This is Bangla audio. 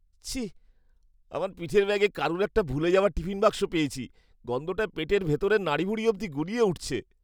ছিঃ! আমার পিঠের ব্যাগে কারুর একটা ভুলে যাওয়া টিফিন বাক্স পেয়েছি। গন্ধটায় পেটের ভেতরের নাড়িভুড়ি অবধি গুলিয়ে উঠছে।